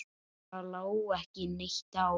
Það lá ekki neitt á.